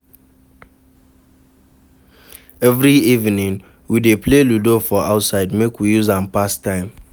Every evening, we dey play ludo for outside make we use am pass time.